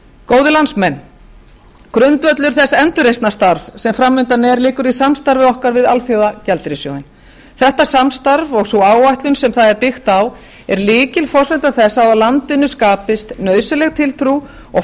góðir landsmenn grundvöllur þess endurreisnarstarfs sem fram undan er liggur í samstarfi okkar við alþjóðagjaldeyrissjóðinn þetta samstarf og sú áætlun sem það er byggt á er lykilforsenda þess að á landinu skapist nauðsynleg tiltrú og